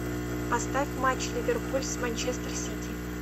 поставь матч ливерпуль с манчестер сити